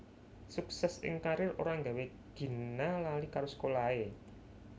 Suksès ing karier ora nggawé Gina lali karo sekolahé